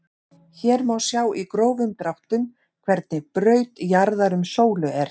Hér má sjá í grófum dráttum hvernig braut jarðar um sólu er.